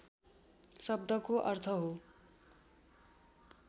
शब्दको अर्थ हो